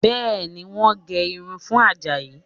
Bẹ́ẹ̀ni, wọ́n ń gé irun fún Àjàyí